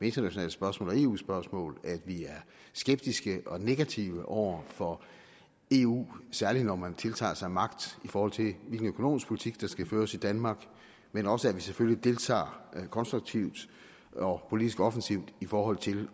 internationale spørgsmål og eu spørgsmål at vi er skeptiske og negative over for eu særligt når man tiltager sig magt i forhold til hvilken økonomisk politik der skal føres i danmark men også at vi selvfølgelig deltager konstruktivt og politisk offensivt i forhold til